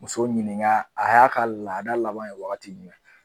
Muso ɲininka a y'a ka laada laban ye wagati jumɛn?